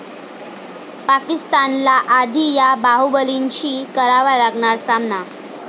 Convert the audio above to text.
पाकिस्तानला आधी 'या' बाहुबलींशी करावा लागणार सामना!